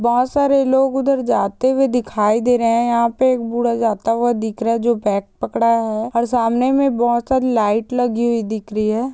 बहोत सारे लोग उधर जाते हुए दिखाई दे रहे हैं| यहाँ पे एक बूढ़ा जाता हुआ दिख रहा है जो बैग पकड़ा है और सामने में बहोत सारी लाइट लगी हुई दिख रही है।